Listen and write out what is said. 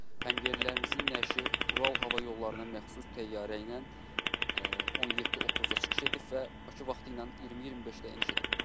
Həmyerlilərimizin nəşi Ural Hava Yollarına məxsus təyyarə ilə 17:30-da çıxış edib və Bakı vaxtı ilə 20:25-də eniş edib.